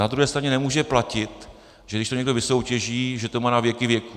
Na druhé straně nemůže platit, že když to někdo vysoutěží, že to má na věky věků.